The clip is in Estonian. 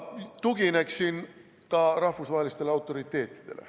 Tugineksin ka rahvusvahelistele autoriteetidele.